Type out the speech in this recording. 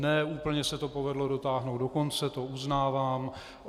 Ne úplně se to povedlo dotáhnout do konce, to uznávám.